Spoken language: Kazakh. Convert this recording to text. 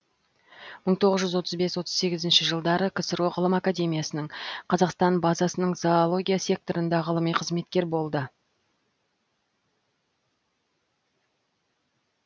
мың тоғыз жүз отыз бес отыз сегізінші жылдары ксро ғылым академиясының қазақстандық базасының зоология секторында ғылыми қызметкер болды